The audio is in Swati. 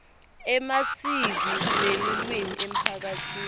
emasiko nelulwimi emphakatsini